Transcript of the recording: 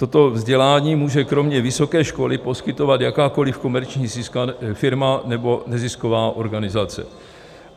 Toto vzdělání může kromě vysoké školy poskytovat jakákoli komerční firma nebo nezisková organizace.